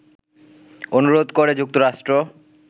অনুরোধ করে যুক্তরাষ্ট্র